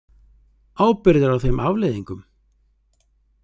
ábyrgðar á þeim afleiðingum?